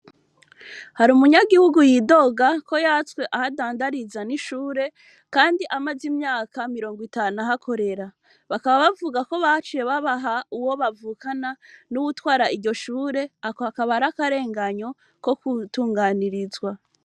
Hari umunyagihugu yidoga ko yatswe ahadandariza n'ishure, kandi amaze imyaka mirongo itanu ahakorera bakaba bavuga ko bacuye babaha uwo bavukana n'uwutwara iryo shure ako akaba ari akarenganyo ko kutunganirizwa.